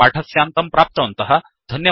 वयं पाठस्यान्तं प्राप्तवन्तः